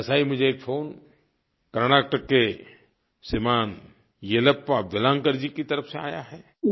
वैसा ही मुझे एक फ़ोन कर्नाटक के श्रीमान येलप्पा वेलान्कर जी की तरफ़ से आया है